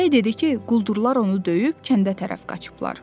Çiyələk dedi ki, quldurlar onu döyüb kəndə tərəf qaçıblar.